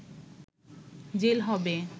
jail হবে